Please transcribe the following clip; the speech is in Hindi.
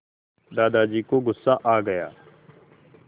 दादाजी को गुस्सा आ गया